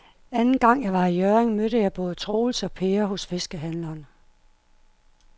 Anden gang jeg var i Hjørring, mødte jeg både Troels og Per hos fiskehandlerne.